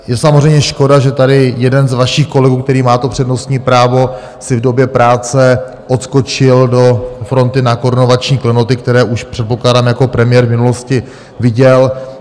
Je samozřejmě škoda, že tady jeden z vašich kolegů, který má to přednostní právo, si v době práce odskočil do fronty na korunovační klenoty, které už, předpokládám, jako premiér v minulosti viděl.